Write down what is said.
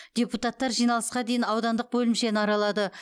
депутаттар жиналысқа дейін аудандық бөлімшені аралады